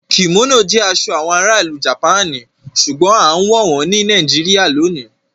Kimono jẹ aṣọ awọn àrà ilú Japani ṣùgbọ̀n àǹwọ wọn ni Nàìjíríyà lónì